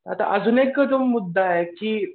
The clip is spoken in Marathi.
आता अजून एक जो मुद्दा आहे की